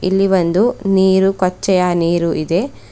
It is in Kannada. ಇಲ್ಲಿ ಒಂದು ನೀರು ಕೊಚ್ಚೆಯಾ ನೀರು ಇದೆ.